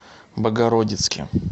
богородицке